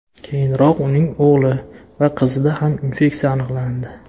Keyinroq uning o‘g‘li va qizida ham infeksiya aniqlandi .